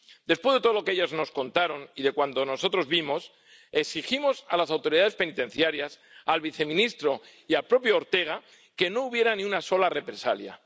Después de todo lo que ellas nos contaron y de cuanto nosotros vimos exigimos a las autoridades penitenciarias, al viceministro y al propio Ortega que no hubiera ni una sola represalia.